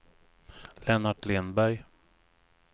Lennart Lindberg